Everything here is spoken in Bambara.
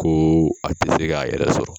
Ko a tɛ se k'a yɛrɛ sɔrɔ.